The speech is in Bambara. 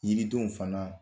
Yiridenw fana